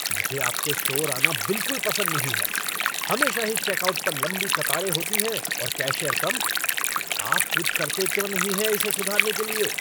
मुझे आपके स्टोर आना बिलकुल पसंद नहीं है हमेशा ही चेकआउट पर लंबी कतारें होती हैं और कैशियर कम। आप कुछ करते क्यों नहीं हैं इसे सुधारने के लिए?